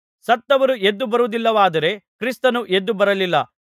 ಸತ್ತವರು ಎದ್ದು ಬರುವುದಿಲ್ಲವಾದರೆ ಕ್ರಿಸ್ತನೂ ಎದ್ದು ಬರಲಿಲ್ಲ